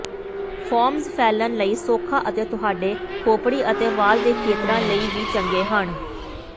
foams ਫੈਲਣ ਲਈ ਸੌਖਾ ਅਤੇ ਤੁਹਾਡੇ ਖੋਪੜੀ ਅਤੇ ਵਾਲ ਦੇ ਖੇਤਰਾਂ ਲਈ ਵੀ ਚੰਗੇ ਹਨ